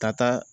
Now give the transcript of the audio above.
Ka taa